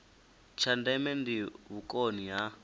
tsha ndeme ndi vhukoni ha